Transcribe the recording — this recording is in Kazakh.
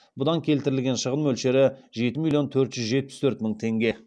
бұдан келтірілген шығын мөлшері жеті миллион төрт жүз жетпіс төрт мың теңге